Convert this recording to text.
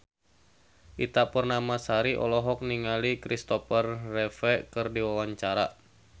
Ita Purnamasari olohok ningali Kristopher Reeve keur diwawancara